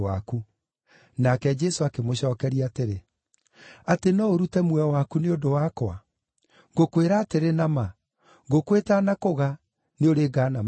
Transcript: Nake Jesũ akĩmũcookeria atĩrĩ, “Atĩ no ũrute muoyo waku nĩ ũndũ wakwa? Ngũkwĩra atĩrĩ na ma, ngũkũ ĩtanakũga, nĩũrĩngaana maita matatũ!